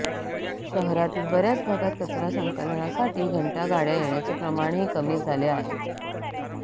शहरातील बऱ्याच भागात कचरा संकलनासाठी घंटा गाड्या येण्याचे प्रमाणही कमी झाले आहे